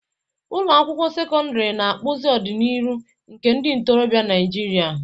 Ụlọ akwụkwọ sekọndrị na-akpụzi ọdịnihu nke ndị ntorobịa Naijiria.